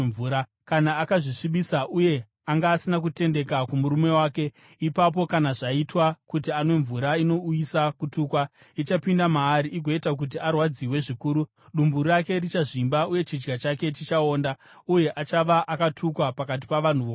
Kana akazvisvibisa uye anga asina kutendeka kumurume wake, ipapo kana zvaitwa kuti anwe mvura inouyisa kutukwa, ichapinda maari igoita kuti arwadziwe zvikuru; dumbu rake richazvimba uye chidya chake chichaonda, uye achava akatukwa pakati pavanhu vokwake.